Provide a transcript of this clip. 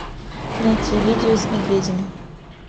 найти видео с медведями